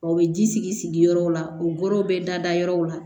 O bɛ ji sigi sigi sigi yɔrɔ la o goro bɛ da yɔrɔw la